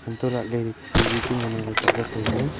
antolahley tv chu ngan angley kapla tailey.